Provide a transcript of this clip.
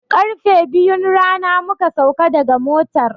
Karfe biyun rana muka sauka daga motar.